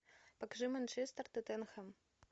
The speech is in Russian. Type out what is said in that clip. покажи манчестер тоттенхэм